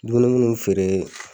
Dumuni munnu me feere